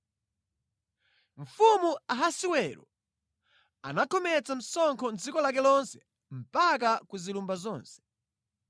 Mfumu Ahasiwero anakhometsa msonkho mʼdziko lake lonse mpaka ku zilumba zonse.